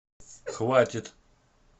хватит